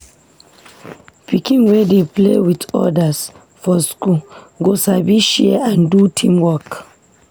Pikin wey dey play with others for school go sabi share and do teamwork.